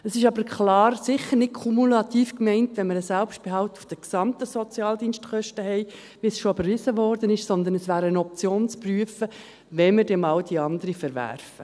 Es ist aber klar sicher nicht kumulativ gemeint, wenn wir einen Selbstbehalt auf den gesamten Sozialdienstkosten haben, wie es schon überwiesen wurde, sondern es wäre eine Option zum Prüfen, wenn wir dann einmal die anderen verwerfen.